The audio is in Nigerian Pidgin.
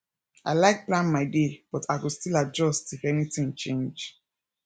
i like plan my day but i go still adjust if anything change